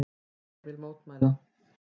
Ég vil mótmæla.